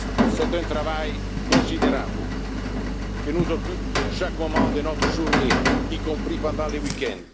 citoyens. C'est un travail considérable, qui nous occupe chaque moment de notre journée, y compris pendant les